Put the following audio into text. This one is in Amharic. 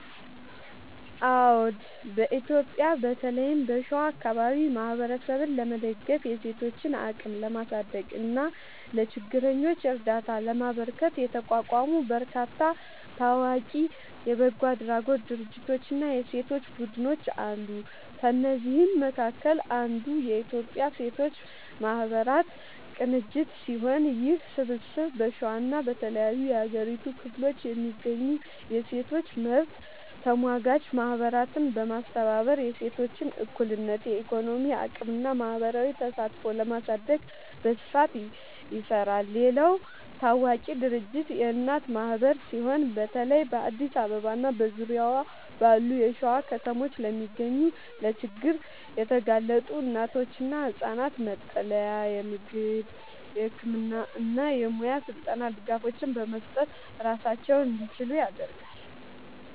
አዎ፣ በኢትዮጵያ በተለይም በሸዋ አካባቢ ማህበረሰብን ለመደገፍ፣ የሴቶችን አቅም ለማሳደግ እና ለችግረኞች እርዳታ ለማበርከት የተቋቋሙ በርካታ ታዋቂ የበጎ አድራጎት ድርጅቶችና የሴቶች ቡድኖች አሉ። ከእነዚህም መካከል አንዱ የኢትዮጵያ ሴቶች ማህበራት ቅንጅት ሲሆን፣ ይህ ስብስብ በሸዋና በተለያዩ የሀገሪቱ ክፍሎች የሚገኙ የሴቶች መብት ተሟጋች ማህበራትን በማስተባበር የሴቶችን እኩልነት፣ የኢኮኖሚ አቅምና ማህበራዊ ተሳትፎ ለማሳደግ በስፋት ይሰራል። ሌላው ታዋቂ ድርጅት የእናት ማህበር ሲሆን፣ በተለይ በአዲስ አበባና በዙሪያዋ ባሉ የሸዋ ከተሞች ለሚገኙ ለችግር የተጋለጡ እናቶችና ህጻናት መጠለያ፣ የምግብ፣ የህክምና እና የሙያ ስልጠና ድጋፎችን በመስጠት ራሳቸውን እንዲችሉ ያደርጋል።